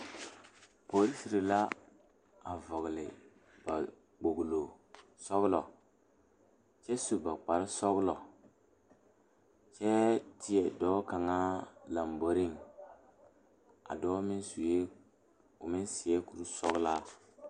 Polisiiri la a vɔgle ba kpolo sɔglɔ kyɛ su ba kpare sɔglɔ kyɛ teɛ dɔɔ kaŋa lanboɔre a dɔɔ meŋ suɛ o meŋ seɛ kuri sɔglaa.